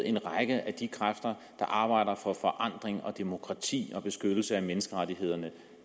en række af de kræfter der arbejder for forandring og demokrati og beskyttelse af menneskerettighederne